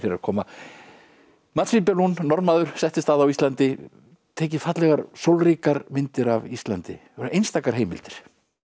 að koma mats Wibe Lund Norðmaður settist að á Íslandi tekið fallegar myndir af Íslandi einstakar heimildir